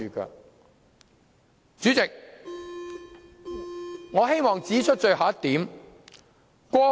代理主席，我希望指出最後一點。